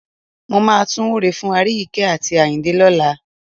Mo máa tún wúre fún Aríyìíkẹ́ àti Àyìndé lọ́la.